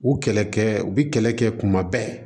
U kɛlɛkɛ u bi kɛlɛ kɛ kuma bɛɛ